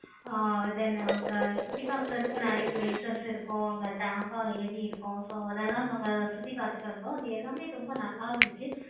ஆஹ் then அங்க சுத்தி பார்க்கிறதுக்கு நெறைய places இருக்கும். அங்க எரி இருக்கும். so அதெல்லாம் நாங்க சுத்தி பார்த்துட்டு வந்தோம். அது எல்லாமே நல்ல இருந்துச்சி.